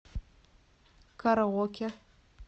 караоке